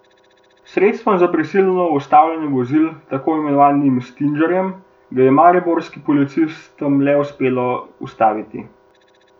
S sredstvom za prisilno ustavljanje vozil, tako imenovanim stingerjem, ga je mariborskim policistom le uspelo ustaviti.